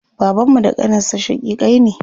Babanmu da ƙaninsa shaƙiƙai ne.